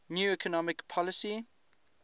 new economic policy